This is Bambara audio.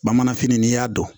Bamanfini n'i y'a dɔn